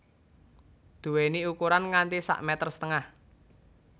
Duweni ukuran nganti sak meter setengah